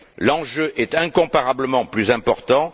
L'enjeu est incomparablement plus important.